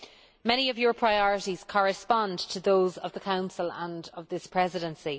Many of Parliament's priorities correspond to those of the Council and of this Presidency.